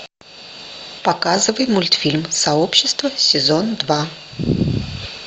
показывай мультфильм сообщество сезон два